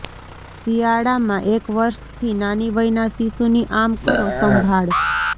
શિયાળામાં એક વર્ષથી નાની વયનાં શિશુની આમ કરો સંભાળ